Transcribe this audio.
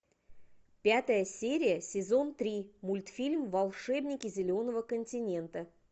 пятая серия сезон три мультфильм волшебники зеленого континента